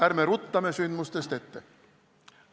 Ärme ruttame sündmustest ette!